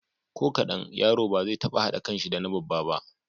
Ko kaɗan, yaro ba zai taɓa haɗa kanshi da na babba ba.